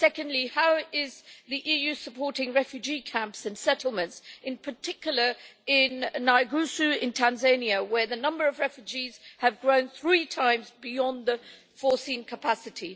Secondly, how is the EU supporting refugee camps and settlements, in particular in Nyarugusu in Tanzania, where the number of refugees has grown three times beyond the intended capacity?